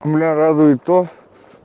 меня радует то